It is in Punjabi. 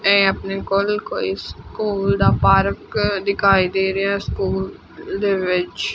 ਇਹ ਆਪਣੇ ਕੋਲ ਕੋਈ ਸਕੂਲ ਦਾ ਪਾਰਕ ਦਿਖਾਈ ਦੇ ਰਿਹਾ ਸਕੂਲ ਦੇ ਵਿੱਚ --